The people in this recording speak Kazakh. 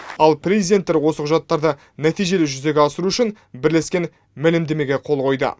ал президенттер осы құжаттарды нәтижелі жүзеге асыру үшін бірлескен мәлімдемеге қол қойды